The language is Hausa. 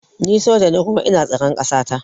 Ni soja ne kuma ina tsaran kasata